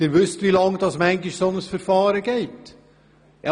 Sie wissen, wie lange solche Verfahren manchmal dauern.